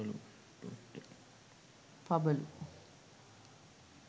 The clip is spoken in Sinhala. pabalu